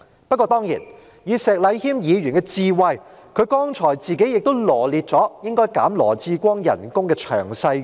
不過，當然，以石禮謙議員的智慧，他剛才自己亦羅列了應該削減羅致光局長薪酬的詳細原因。